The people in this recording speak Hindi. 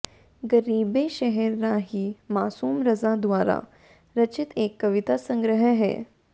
गरीबे शहर राही मासूम रज़ा द्वारा रचित एक कविता संग्रह है